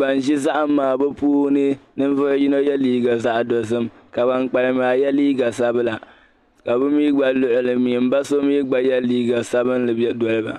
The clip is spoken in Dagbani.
ban ʒi zahim maa puuni ninvuɣ' yino ye liiga zaɣ' dozim ka ban kpalim maa ye liiga sabila ka bɛ mi gba luɣili zuɣu m ba so mi gba ye liiga sabilinli doli ba.